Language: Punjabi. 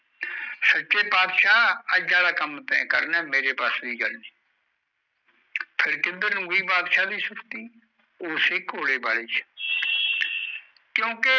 ਸਚੇ ਬਾਦਸ਼ਾਹ ਅੱਜ ਆਲਾ ਕਮ ਤੇ ਕਰਨਾ ਹੈ ਮੈਰੇ ਬਸ ਦੀ ਗੱਲ ਨਹੀਂ ਫੇਰ ਕਿੱਧਰ ਨੂੰ ਗਯੀ ਬਾਦਸ਼ਾਹ ਦੀ ਸਿਫਤਿ